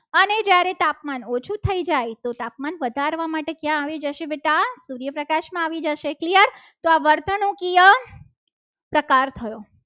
અરે તાપમાન ઓછું થઈ જાય ત્યારે તાપમાન વધારવા માટે ક્યાં આવે છે બેટા? સૂર્યપ્રકાશમાં આવી જશે. clear તો આ વર્તણુકિયા પ્રકાર થયો.